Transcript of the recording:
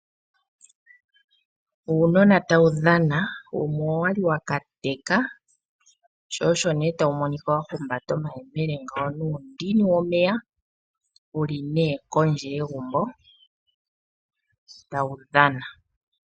Uunona tawu dhana. Wumwe owa li wa ka teka, sho osho tawu monika wa humbata omayemele gawo nuundini womeya wu li nduno kondje yegumbo tawu dhana.